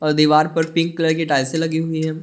दीवार पर pink colour की टाइल्से लगी हुई है।